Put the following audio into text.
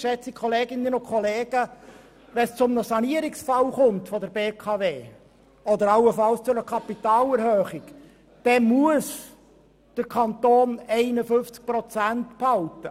Wenn es bei der BKW zu einem Sanierungsfall kommt oder allenfalls zu einer Kapitalerhöhung, dann muss der Kanton 51 Prozent behalten.